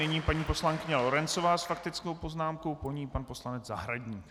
Nyní paní poslankyně Lorencová s faktickou poznámkou, po ní pan poslanec Zahradník.